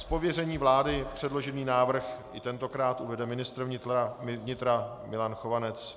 Z pověření vlády předložený návrh i tentokrát uvede ministr vnitra Milan Chovanec.